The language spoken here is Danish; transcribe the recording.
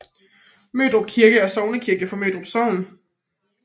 Mørdrup Kirke er sognekirke for Mørdrup Sogn